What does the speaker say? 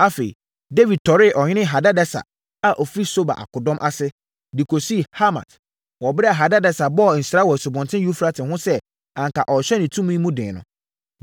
Afei, Dawid tɔree ɔhene Hadadeser a ɔfiri Soba akodɔm ase, de kɔsii Hamat wɔ ɛberɛ a Hadadeser bɔɔ nsra wɔ Asubɔnten Eufrate ho sɛ anka ɔrehyɛ ne tumi mu den no.